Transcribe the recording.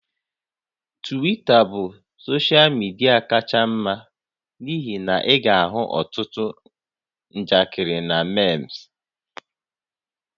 Twita bụ soshal midia kacha mma n'ihi na ị ga-ahụ ọtụtụ njakịrị na meem